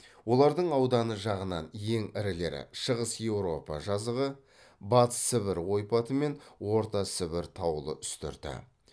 олардың ауданы жағынан ең ірілері шығыс еуропа жазығы батыс сібір ойпаты мен орта сібір таулы үстірті